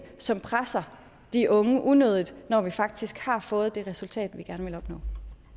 som presser de unge unødigt når vi faktisk har fået det resultat vi gerne ville opnå